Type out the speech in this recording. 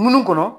Munnu kɔnɔ